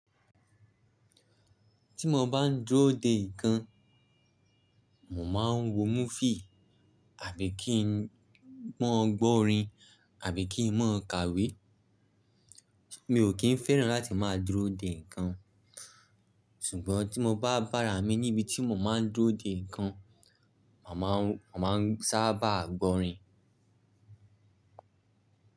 Tí mo bá ń dúró de ǹkan, mo máa ń wo múfì àbí kí ń mọ́ gbọ́ orin àbí kí ń mọ́ kàwé. Mi ò kín fẹ́ràn láti máa dúró de ǹkan, ṣùgbọ́n tí mo bá bára mi níbi tí mo máa ń dúró de ǹkan, màá máa ń sábà gbọ́ orin.